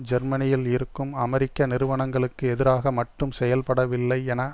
ஜெர்மனியில் இருக்கும் அமெரிக்க நிறுவனங்களுக்கு எதிராக மட்டும் செயல்படவில்லை என